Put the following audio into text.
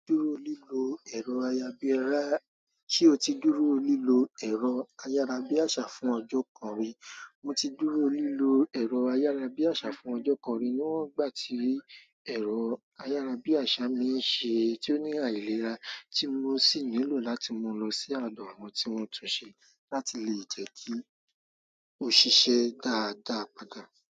Ṣé o ti dúró lílo ẹ̀rọ-ayárabíàṣà fún ọjọ́ kan rí? Mo ti dúró lílo ẹ̀rọ ayárabíàṣà fún ọjọ́ kan rí níwọ́n gbà ti ẹ̀rọ ayárabíàṣà mi ń ṣe, tí ó ní àìlera tí mo sì nílò láti mú lọ sí àdọ̀ àwọn tí wọ́n tun ṣe láti lè jẹ́ kí ó ṣiṣẹ́ dáadáa padà.